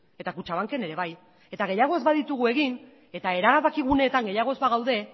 eta kutxabanken ere bai eta gehiago ez baditugu egin eta erabakiguneetan gehiago ez bagaude